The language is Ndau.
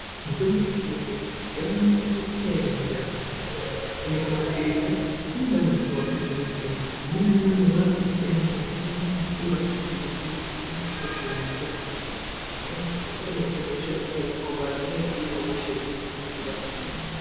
Mitombo yechizvino -zvino yakanakira pakuti inouya nemhando yakasiyana-siiyana, kunyange mapirizi acho anenge ane mutowo wakasiyana-siyana. Amweni anenge ane ruvara rwakasiyana -siyana zveienderana nesimba remapirizi, kuti anohina hosha dzakadini amweni mapirizi anohina hosha dzinenge dzakaomarara amweni achihine hosha dzisina simba rakanyanya.